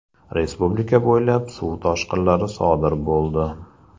Respublika bo‘ylab suv toshqilari sodir bo‘ldi.